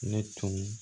Ne tun